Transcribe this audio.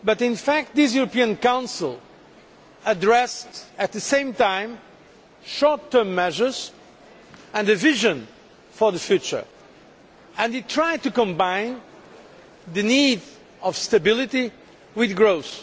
In fact, this European Council addressed at the same time short term measures and a vision for the future, and tried to combine the need for stability with growth.